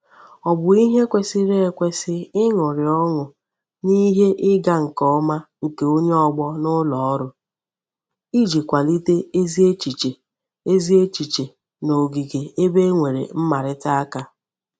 O bu ihe kwesiri ekwesi iñuri oñu n'ihe iga nke oma nke onye ogbo n'uloru Iji kwalite ezi echiche ezi echiche n'ogige ebe e nwere mmarita aka.